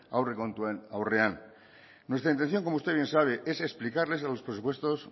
aurrekontuen aurrean nuestra intención como usted bien sabe es explicarles los presupuestos